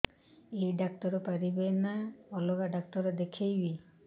ଏଇ ଡ଼ାକ୍ତର ପାରିବେ ନା ଅଲଗା ଡ଼ାକ୍ତର ଦେଖେଇବି